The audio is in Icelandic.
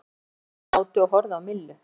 Örn og Jónsi sátu og horfðu á Millu.